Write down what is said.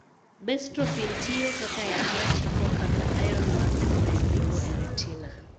Bestrophin tiyo kaka yath ma chiko kaka ion mag chloride ringo e retina.